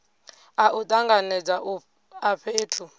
a u tanganedza a fhethu